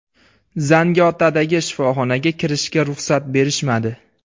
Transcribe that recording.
Zangiotadagi shifoxonaga kirishga ruxsat berishmadi.